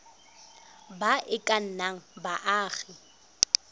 ba e ka nnang baagi